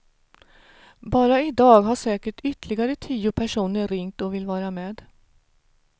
Bara i dag har säkert ytterligare tio personer ringt och vill vara med.